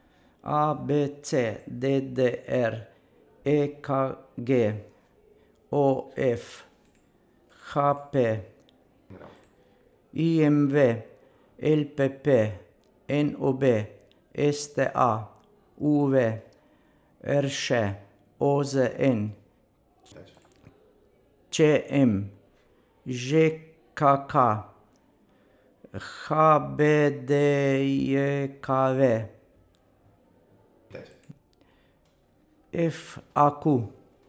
A B C; D D R; E K G; O F; H P; I M V; L P P; N O B; S T A; U V; R Š; O Z N; Č M; Ž K K; H B D J K V; F A Q.